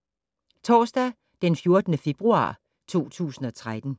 Torsdag d. 14. februar 2013